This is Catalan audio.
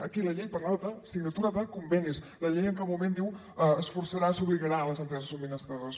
aquí la llei parlava de signatura de convenis la llei en cap moment diu es forçarà s’obligarà les empreses subministradores